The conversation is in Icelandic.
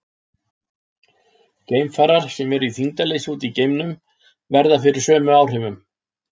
Geimfarar sem eru í þyngdarleysi úti í geimnum verða fyrir sömu áhrifum.